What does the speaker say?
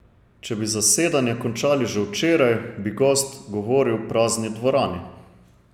Če bi zasedanje končali že včeraj, bi gost govoril prazni dvorani.